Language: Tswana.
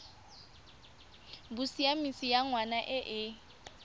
bosiamisi ya ngwana e e